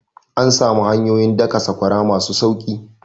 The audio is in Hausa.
An samu hanyoyin daka sakwara masu sauki